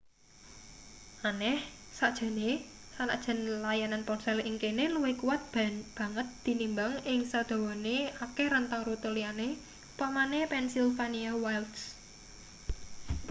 aneh sakjane sanajan layanan ponsel ing kene luwih kuwat banget tinimbang ing sadawane akeh rentang rute liyane upamane pennsylvania wilds